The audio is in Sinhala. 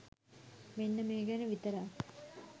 මෙන්න මේ ගැන විතරක්